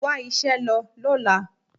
Wá iṣẹ́ lọ lọ́la.